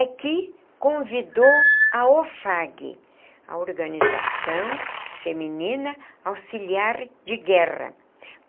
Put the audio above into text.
é que convidou a OFAG, a Organização Feminina Auxiliar de Guerra.